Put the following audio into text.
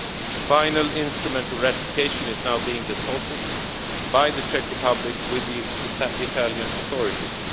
ago. The final instrument of ratification is now being deposited by the Czech Republic with the Italian authorities.